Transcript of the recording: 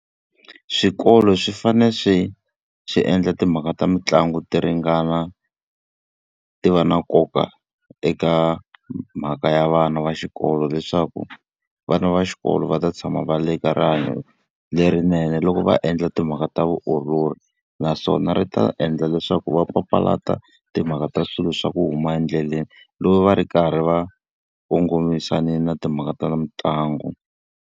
Swikolo swi fanele swi swi endla timhaka ta mitlangu ti ringana ti va na nkoka eka mhaka ya vana va xikolo leswaku, vana va xikolo va ta tshama va ri eka rihanyo lerinene loko va endla timhaka ta vutiolori. Naswona ri ta endla leswaku va papalata timhaka ta swilo swa ku huma endleleni, loko va ri karhi va kongomisane na timhaka ta mitlangu.